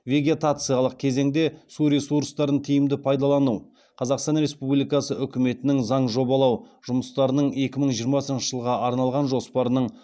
вегетациялық кезеңде су ресурстарын тиімді пайдалану қазақстан республикасы үкіметінің заң жобалау жұмыстарының екі мың жиырмасыншы жылға арналған жоспарының